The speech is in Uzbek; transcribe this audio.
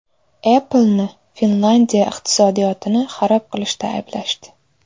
Apple’ni Finlyandiya iqtisodiyotini xarob qilishda ayblashdi.